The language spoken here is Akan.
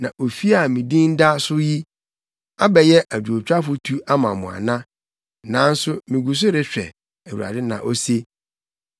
Na ofi a me din da so yi, abɛyɛ adwowtwafo tu ama mo ana? Nanso migu so rehwɛ! Awurade na ose.